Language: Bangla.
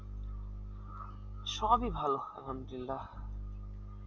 সবই ভালো আলহামদুলিল্লাহ